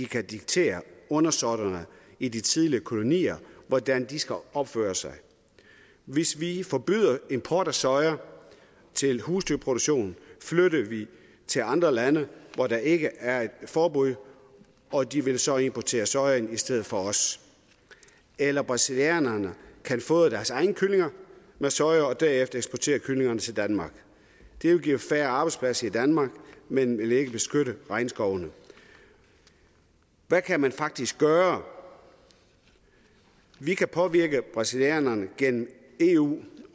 kan diktere undersåtterne i de tidligere kolonier hvordan de skal opføre sig hvis vi forbyder import af soja til husdyrproduktion flytter vi det til andre lande hvor der ikke er et forbud og de vil så importere sojaen i stedet for os eller brasilianerne kan fodre deres egne kyllinger med soja og derefter eksportere kyllingerne til danmark det vil give færre arbejdspladser i danmark men vil ikke beskytte regnskovene hvad kan man faktisk gøre vi kan påvirke brasilianerne gennem eu